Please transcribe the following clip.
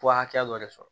Bɔ hakɛ dɔ de sɔrɔ